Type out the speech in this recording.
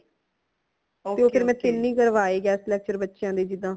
ਮੈਂ ਤੀਨ ਹੀ ਕਰਵਾਏ guest lecture ਬੱਚਿਆਂ ਦੇ ਜਿਦਾ